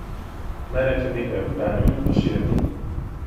Naj rečem nekaj o Kranju in Prešernu.